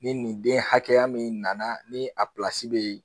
Ni nin den hakɛya min nana ni a pilasi bɛ ye.